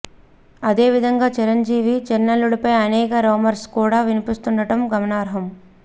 అదే విధంగా చిరంజీవి చిన్నల్లుడుపై అనేక రూమర్స్ కూడా వినిపిస్తుండడం గమనార్హం